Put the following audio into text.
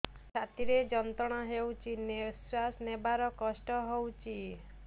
ଛାତି ରେ ଯନ୍ତ୍ରଣା ହେଉଛି ନିଶ୍ଵାସ ନେବାର କଷ୍ଟ ହେଉଛି